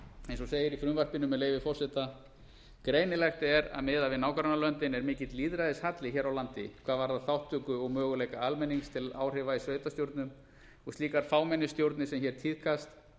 eins og segir í frumvarpinu með leyfi forseta greinilegt er að miðað við nágrannalöndin er mikill lýðræðishalli hér á landi hvað varðar þátttöku og möguleika almennings til áhrifa í sveitarstjórnum og slíkar fámennisstjórnir sem hér hafa tíðkast